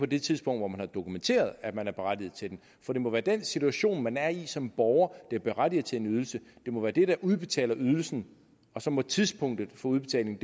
det tidspunkt hvor man har dokumenteret at man er berettiget til den for det må være den situation man er i som borger der berettiger til en ydelse det må være det der udbetaler ydelsen og så må tidspunktet for udbetaling